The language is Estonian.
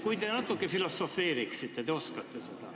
Vahest te natuke filosofeeriksite, te oskate seda.